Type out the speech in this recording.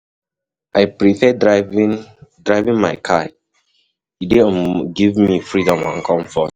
I prefer driving driving my car; e dey um give me freedom and comfort.